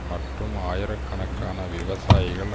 மற்றும் ஆயிரக்கணக்கான விவசாயிகள்